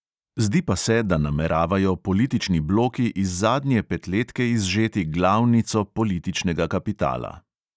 Zdi pa se, da nameravajo politični bloki iz zadnje petletke izžeti glavnico političnega kapitala.